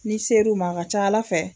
N'i ser'u ma a ka ca ala fɛ